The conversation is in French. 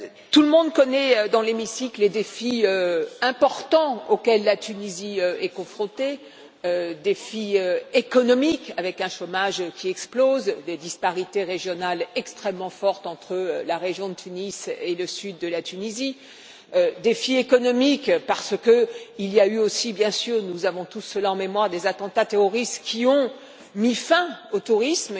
Tout le monde connaît dans l'hémicycle les défis importants auxquels la Tunisie est confrontée défi économique, avec un chômage qui explose, des disparités régionales extrêmement fortes entre la région de Tunis et le sud de la Tunisie, et parce qu'il y a eu aussi, bien sûr nous avons tous cela en mémoire des attentats terroristes qui ont mis fin au tourisme.